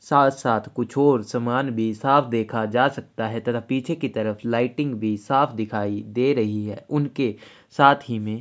साथ साथ कुछ और समान भी साफ देखा जा सकता है तथा पीछे की तरफ लाइटिंग भी साफ दिखाई दे रही है उनके साथ ही में--